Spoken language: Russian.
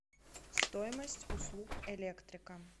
стоимость услуг электрика